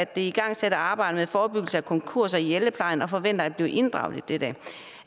det igangsatte arbejde med forebyggelse af konkurser i ældreplejen og forventer at blive inddraget i dette